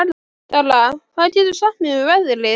Dara, hvað geturðu sagt mér um veðrið?